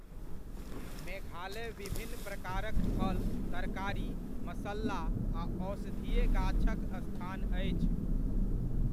मेघालय विभिन्न प्रकारक फल, तरकारी, मसल्ला आ औषधीय गाछक स्थान अछि।